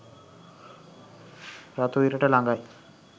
රතු ඉරට ලඟයි